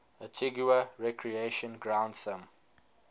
antigua recreation ground thumb